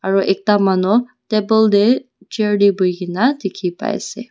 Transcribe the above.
aru ekta manu table te chair te bohi kina dikhi paise.